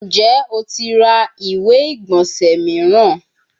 Njẹ o ti ra iwe-igbọnsẹ igbonse miiran?